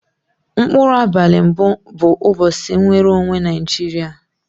Mkpuru abali mbu bu ubosi mnwere onwe naijiria.